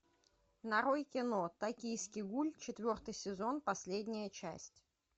нарой кино токийский гуль четвертый сезон последняя часть